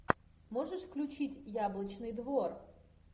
можешь включить яблочный двор